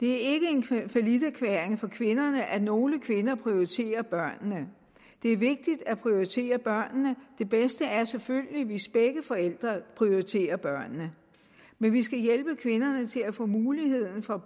det er ikke en falliterklæring for kvinderne at nogle kvinder prioriterer børnene det er vigtigt at prioritere børnene det bedste er selvfølgelig hvis begge forældre prioriterer børnene men vi skal hjælpe kvinderne til at få mulighed for